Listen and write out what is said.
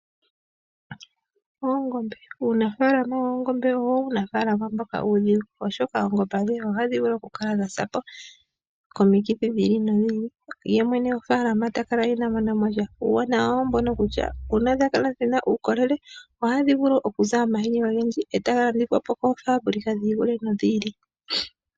Uunafaalama woongombe owo uunafaalama mboka uudhigu oshoka oongombe adhihe ohadhi vulu oku kala dhasa po komikithi dhi ili nodhi ili yemwene gofaalama takala inaa monamo sha. Uuwanawa wawo oombono kutya uuna dha kala dhina uukolele ohadhi vulu okuza omahini ogendji etaga landithwa koofaabulika dhi ili nodhi ili.